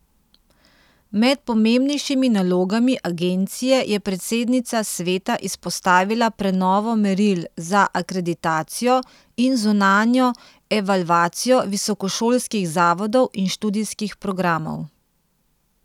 Med pomembnejšimi nalogami agencije je predsednica sveta izpostavila prenovo meril za akreditacijo in zunanjo evalvacijo visokošolskih zavodov in študijskih programov.